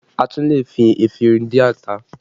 A tún lè fi efinrin dín ata